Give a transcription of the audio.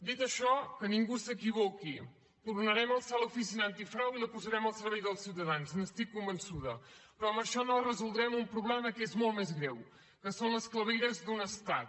dit això que ningú s’equivoqui tornarem a alçar l’oficina antifrau i la posarem al servei dels ciutadans n’estic convençuda però amb això no resoldrem un problema que és molt més greu que són les clavegueres d’un estat